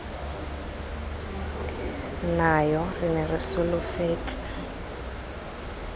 nayo re ne re solofetse